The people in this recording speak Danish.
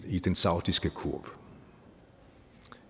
i den saudiske kurv